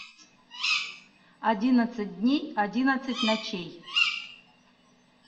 одиннадцать дней одиннадцать ночей